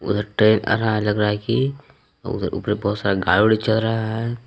उधर ट्रेन आ रहा है लग रहा है कि ऊपर में बहुत सारा गाड़ी ओडि चल रहा है।